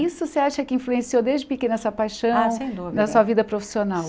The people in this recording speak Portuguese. Isso você acha que influenciou desde pequena essa paixão Ah sem dúvida Na sua vida profissional